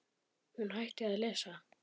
Hún hætti að lesa.